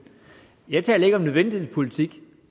jeg taler ikke om nødvendighedens politik